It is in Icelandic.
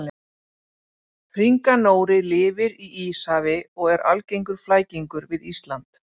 Hringanóri lifir í Íshafi og er algengur flækingur við Ísland.